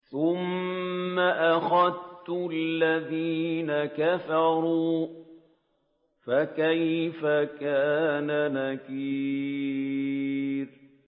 ثُمَّ أَخَذْتُ الَّذِينَ كَفَرُوا ۖ فَكَيْفَ كَانَ نَكِيرِ